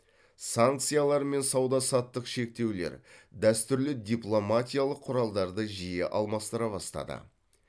санкциялар мен сауда саттық шектеулер дәстүрлі дипломатиялық құралдарды жиі алмастыра бастады